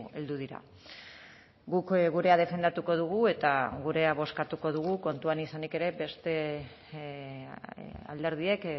heldu dira guk gurea defendatuko dugu eta gurea bozkatuko dugu kontuan izanik ere beste alderdiek